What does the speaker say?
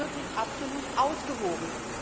Es ist jetzt wirklich absolut ausgewogen.